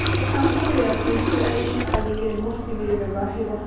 Waxaan ku riyaaqay sida ay ii caawiyeen waqtigayga baahida